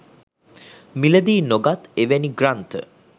මිලදී නොගත් එවැනි ග්‍රන්ථ